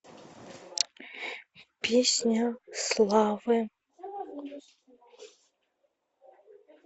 песня славы